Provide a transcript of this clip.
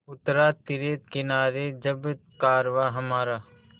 उतरा तिरे किनारे जब कारवाँ हमारा